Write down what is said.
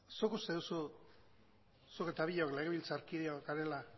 zuk uste duzu zuk eta biok legebiltzarkideok garela